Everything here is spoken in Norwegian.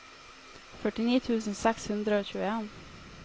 førtini tusen seks hundre og tjueen